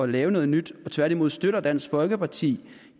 lave noget nyt og tværtimod støtter dansk folkeparti